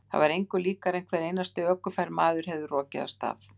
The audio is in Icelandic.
Það var engu líkara en hver einasti ökufær maður hefði rokið af stað.